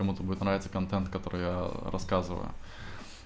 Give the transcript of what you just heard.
кому-то будет нравиться контент который я рассказываю